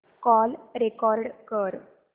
call record कर